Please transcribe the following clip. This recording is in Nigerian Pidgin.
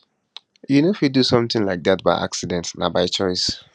you no fit do sometin like dat by accident na by choice